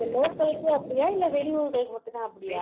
இல்ல local க்கு அப்படியா இல்ல வெளியூர்களுக்கு மட்டும் தான் அப்படியா